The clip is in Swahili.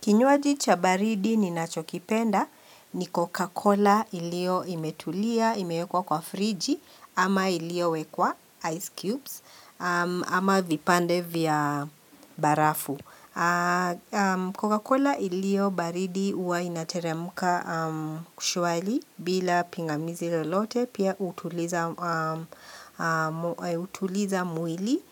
Kinywaji cha baridi ni nachokipenda ni Coca-Cola ilio imetulia, imewekwa kwa friji ama iliowekwa ice cubes ama vipande vya barafu. Coca-Cola ilio baridi uwa inateremka kushwali bila pingamizi lolote pia hutuliza mwili